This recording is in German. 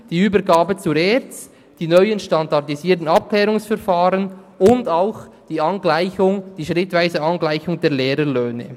die Übergabe an die ERZ, die neuen SAV und auch die schrittweise Angleichung der Lehrerlöhne.